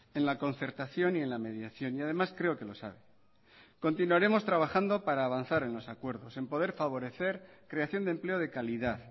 en la concertación y en la mediación y además creo que lo sabe continuaremos trabajando para avanzar en los acuerdos en poder favorecer creación de empleo de calidad